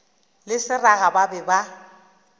le seraga ba be ba